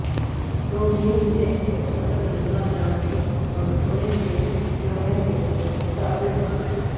dominate نے مختصر زندہ جامنی اور سونے کے گروہوں کو متعارف کرایا